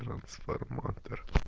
трансформатор